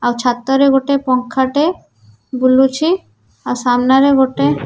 ଆଉ ଛାତରେ ଗୋଟେ ପଙ୍ଖା ଟେ ବୁଲୁଛି ଆଉ ସାମ୍ନାରେ ଗୋଟେ --